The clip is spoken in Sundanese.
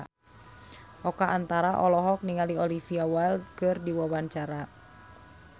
Oka Antara olohok ningali Olivia Wilde keur diwawancara